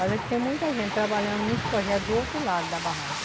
Mas é que tem muita gente trabalhando nos projetos do outro lado da barragem.